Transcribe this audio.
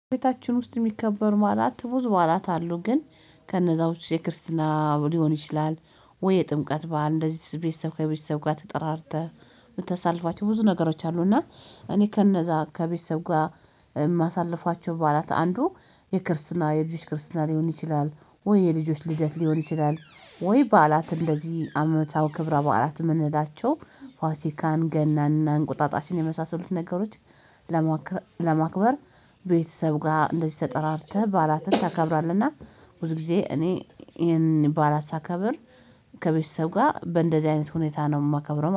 ቤታችን ውስጥ የሚከበሩ በዓላት ብዙ በዓላት አሉ ግን ከነዛው ውስጥ የክርስቲና ሊሆን ይችላል? ወይ የጥምቀት በዓል እንደዚህ ቤተሰብ ከቤተሰብ ጋር ተጠራርተህ የምትሳልፋቸው ብዙ ነገሮች አሉ። እና እኔ ከነዛ ከቤተሰብ ጋር የማሳልፋቸው በኋላ አንዱ የክርስትና የልጆች ክርስትና ሊሆን ይችላል። ወይ የልጆች ልደት ሊሆን ይችላል። ወይ በዓላት እንደዚህ አመታዊ ክብረ በዓላት የምንላቸው ፋሲካን ገናንና እንቁጣጣሽን የመሳሰሉትን ነገሮች ለማክበር ቤተሰብ ጋር እንደዚህ ተጠራርተህ በዓላትን ታከብራለህና። ብዙ ጊዜ እኔ ይሄንን ባላት ሳከብር ከቤተሰብ ጋር በእንደዚህ አይነት ሁኔታ ነው የማከብረው